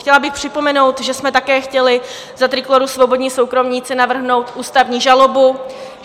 Chtěla bych připomenout, že jsme také chtěli za Trikolóru Svobodní Soukromníci navrhnout ústavní žalobu.